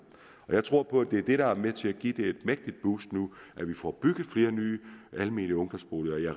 jeg tror på at det er det der er med til at give det et mægtigt boost nu vi får bygget flere nye almene ungdomsboliger